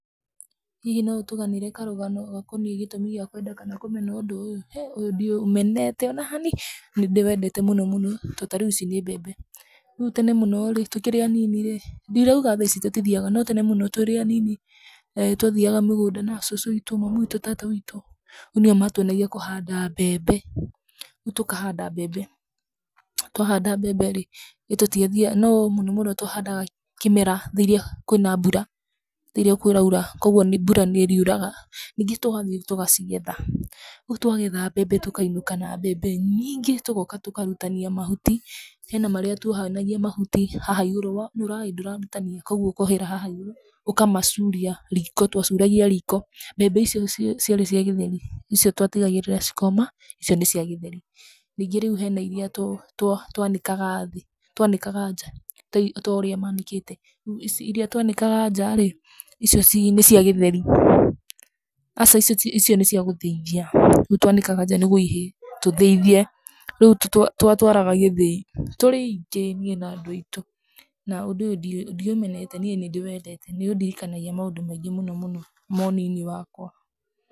Hihi no ũtũganĩre karũgano gakoniĩ gĩtũmi gĩa kwenda kana kũmena ũndũ ũyũ? Hĩ ũyũ ndiũmenete ona hani, ndĩwendete mũno mũno to ta rĩu ici nĩ mbembe. Rĩu tene mũno rĩ, tũkĩrĩ anini rĩ, ndirauga tha ici tũtithiaga, no tene mũno tũrĩ anĩnĩ, twathiaga mũgũnda na cũcũ witũ, tata witũ, mamu witũ nĩo matuonagia kũhanda mbembe. Rĩu tũkahanda mbembe twahanda mbembe rĩ, no mũnomũno twahandaga kĩmera rĩrĩa kwĩ na mbura, rĩrĩa kũraura koguo mbura nĩ ĩriuraga, nyingĩ tũgathiĩ tũgacigetha rĩu twagetha mbembe tũkainũka na mbembe nyingĩ. Tũgoka tũkarutania mahuti hena harĩa twohanagia mahuti haha igũrũ wonũra ĩĩ ndũrarutania koguo ũkohera haha igũrũ ũkamacuria riko, twacuragia riko. Mbembe icio ciarĩ cia gĩtheri, icio twatigagĩrĩra cikoma, icio nĩ cia gĩtherĩ. Rĩu hena iria twanĩkaga thĩ twanĩkaga nja, ta ũria manĩkĩte iria twanĩkaga nja rĩ icio nĩ cia gĩtheri, aca icio nĩ cia gũthĩithia, rĩu twanĩkaga nja nĩgwo ihĩe tũthĩithie. Rĩu twatwaraga gĩthĩi tũrĩ aingĩ niĩ na andũ aitũ na ũndũ ũyũ ndiũmenete niĩ nĩ ndĩwendete nĩ ũndirikanagia maũndũ maingĩ mũno mũno ma ũnini wakwa.